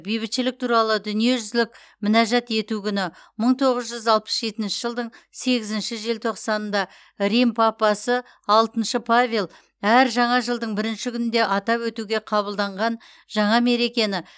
бейбітшілік туралы дүниежүзілік мінәжат ету күні мың тоғыз жүз алпыс жетінші жылдың сегізінші желтоқсанында рим папасы алтыншы павел әр жаңа жылдың бірінші күнінде атап өтуге қабылданған жаңа мерекені